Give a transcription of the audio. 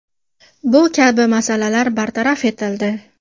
Bu kabi masalalar bartaraf etildi.